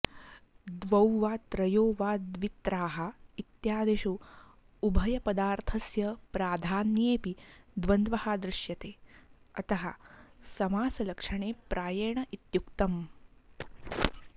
द्वौ वा त्रयो वा द्वित्राः इत्यादिषु उभयपदार्थस्य प्राधान्येऽपि द्वन्द्वः दृश्यते अतः समासलक्षणे प्रायेण इत्युक्तम्